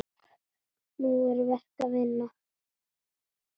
Nú er verk að vinna.